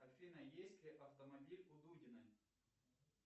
афина есть ли автомобиль у дудиной